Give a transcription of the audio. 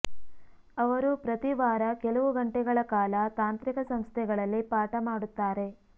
ಅವರು ಪ್ರತಿ ವಾರ ಕೆಲವು ಗಂಟೆಗಳ ಕಾಲ ತಾಂತ್ರಿಕ ಸಂಸ್ಥೆಗಳಲ್ಲಿ ಪಾಠ ಮಾಡುತ್ತಾರೆ